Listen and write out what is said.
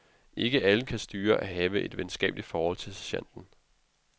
Ikke alle kan styre at have et venskabeligt forhold til sergenten.